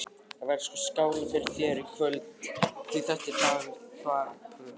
Það verður sko skálað fyrir þér í kvöld, því þetta er dagur þvagprufunnar!